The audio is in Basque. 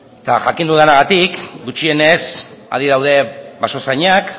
eta jakin dudanagatik gutxienez adi daude basozainak